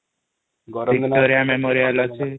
Victoria memorial ଅଛି ।